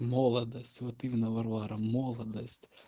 молодость вот именно варвара молодость